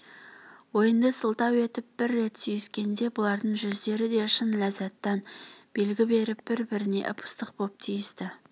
ойынды сылтау етіп бір рет сүйіскенде бұлардың жүздері де шын ләззаттан белгі беріп бір-біріне ып-ыстық боп тиісті